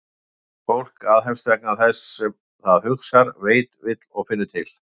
Að fólk aðhefst vegna þess sem það hugsar, veit, vill og finnur til?